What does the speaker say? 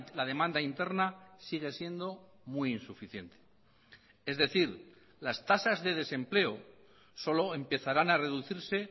la demanda interna sigue siendo muy insuficiente es decir las tasas de desempleo solo empezarán a reducirse